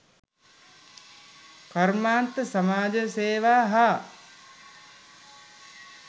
කර්මාන්ත සමාජසේවා හා